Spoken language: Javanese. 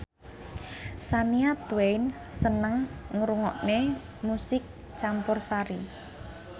Shania Twain seneng ngrungokne musik campursari